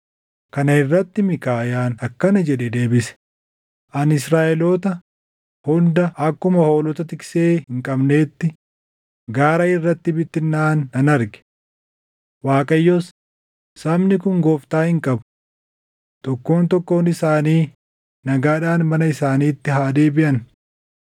Kana irratti Miikaayaan akkana jedhee deebise; “Ani Israaʼeloota hunda akkuma hoolota tiksee hin qabneetti gaara irratti bittinnaaʼan nan arge. Waaqayyos, ‘Sabni kun gooftaa hin qabu. Tokkoon tokkoon isaanii nagaadhaan mana isaaniitti haa deebiʼan.’ ”